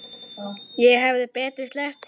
Ég hefði betur sleppt því.